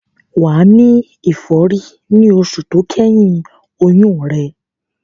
Wà á ní ìfọ́rí ní oṣù tó kẹ́yìn oyún rẹ.